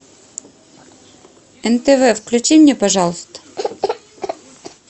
нтв включи мне пожалуйста